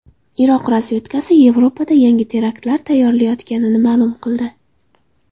Iroq razvedkasi Yevropada yangi teraktlar tayyorlanayotganini ma’lum qildi.